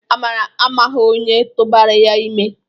Amara amaghị onye tụbara ya ime.